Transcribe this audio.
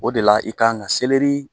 O de la i kan ka seleri